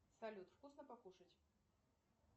салют вкусно покушать